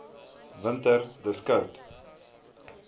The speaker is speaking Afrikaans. winter dis koud